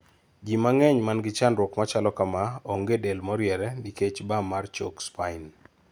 jii mang'eny mangi chandruok machalo kamaa one del moriere nikech bam mar chok spine